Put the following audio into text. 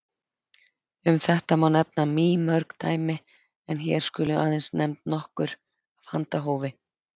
Um þetta má nefna mýmörg dæmi en hér skulu aðeins nefnd nokkur af handahófi.